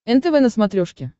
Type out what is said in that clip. нтв на смотрешке